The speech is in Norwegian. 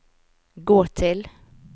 gå til